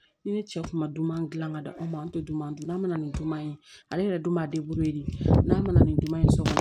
Ni ne cɛ kun ma dunan dilan ka di anw ma an tɛ dunan dunan mana ni duman ye ale yɛrɛ dun b'a de n'a mana nin dunan ye so kɔnɔ